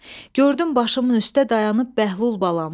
Gördüm başımın üstə dayanıb Bəhlul balam.